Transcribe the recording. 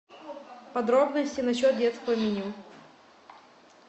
подробности насчет детского меню